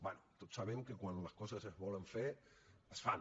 bé tots sabem que quan les coses es volen fer es fan